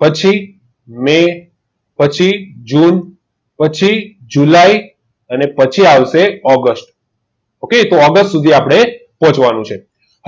પછી મેં પછી જૂન પછી જુલાઈ અને પછી આવશે ઓગસ્ટ ઓકે તો પછી આપણે ઓગસ્ટ સુધી પહોંચવાનું છે